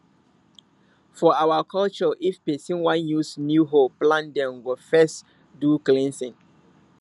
for our culture if person wan use new hoe plant dem go first do cleansing